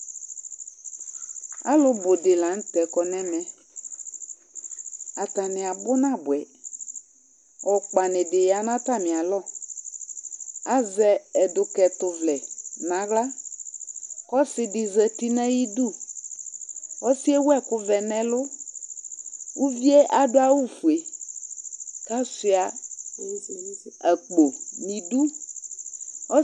Alʋbʋ dɩ la nʋ tɛ kɔ nʋ ɛmɛ Atanɩ abʋ nabʋɛ Ɔkpanɩ dɩ ya nʋ atamɩalɔ Azɛ ɛdʋkɛtʋvlɛ nʋ aɣla kʋ ɔsɩ dɩ zati nʋ ayidu Ɔsɩ yɛ ewu ɛkʋvɛ nʋ ɛlʋ Uvi yɛ adʋ awʋfue kʋ asʋɩa akpo nʋ idu